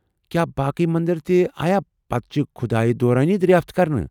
کیٛاہ باقی مندر تہِ آیا پتہٕ چہِ كُھدایہ دوران دریافت كرنہٕ ؟